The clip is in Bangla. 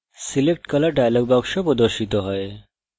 selectcolor dialog box প্রদর্শিত হয়